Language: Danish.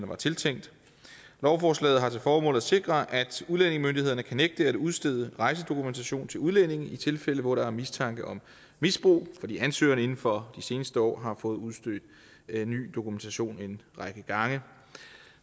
var tiltænkt lovforslaget har til formål at sikre at udlændingemyndighederne kan nægte at udstede rejsedokumentation til udlændinge i tilfælde hvor der er mistanke om misbrug fordi ansøgerne inden for de seneste år har fået udstedt ny dokumentation en række gange